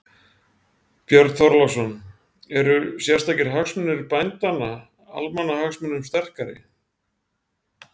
Björn Þorláksson: Eru sértækir hagsmunir bændanna, almannahagsmunum sterkari?